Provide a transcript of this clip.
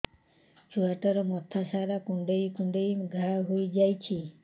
ଛୁଆଟାର ମଥା ସାରା କୁଂଡେଇ କୁଂଡେଇ ଘାଆ ହୋଇ ଯାଇଛି